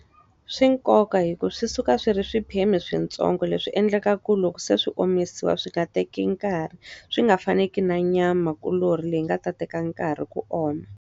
Swi na nkoka hikuva swi suka swi ri swiphemu swintsongo leswi endleka ku loko se swi omisiwa swi nga teki nkarhi. Swi nga faneki na nyamakuloni leyi nga ta teka nkarhi ku oma.